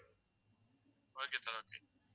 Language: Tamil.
okay sir okay